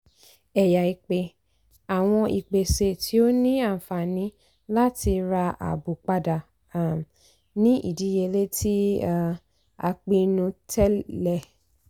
ẹ̀yà ìpè - àwọn ìpèsè tí ó ní àǹfààní láti ra àábò padà um ní ìdíyelé tí um a pinnu tẹ́lẹ̀. um